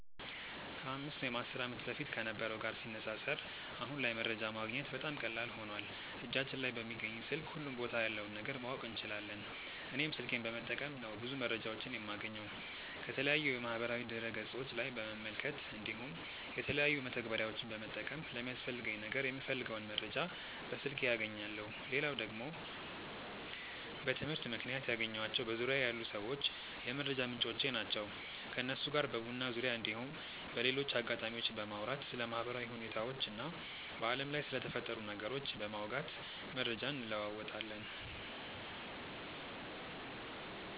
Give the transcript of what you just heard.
ከ 5 ወይም 10 ዓመት በፊት ከነበረው ጋር ሲነጻጸር አሁን ላይ መረጃ ማግኘት በጣም ቀላል ሆኖዋል እጃችን ላይ በሚገኝ ስልክ ሁሉም ቦታ ያለውን ነገር ማወቅ እንችላለን። እኔም ስልኬን በመጠቀም ነው ብዙ መረጃዎችን የማገኘው። ከተለያዩ የማህበራዊ ድረ ገፆች ላይ በመመልከት እንዲሁም የተለያዩ መተግበሪያዎችን በመጠቀም ለሚያስፈልገኝ ነገር የምፈልገውን መረጃ በስልኬ አገኛለው። ሌላው ደግሞ በትምህርት ምክንያት ያገኘኳቸው በዙርያዬ ያሉ ሰዎች የመረጃ ምንጮቼ ናቸው። ከነሱ ጋር በቡና ዙርያ እንዲሁም በሌሎች አጋጣሚዎች በማውራት ስለ ማህበራዊ ሁኔታዎች እና በአለም ላይ ስለተፈጠሩ ነገሮች በማውጋት መረጃ እንለወጣለን።